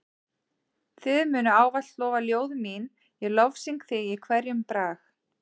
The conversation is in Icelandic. Þig munu ávallt lofa ljóð mín ég lofsyng þig í hverjum brag.